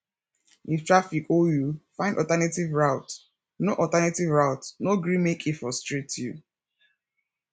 if traffic hold you find alternative route no alternative route no gree make e frustrate you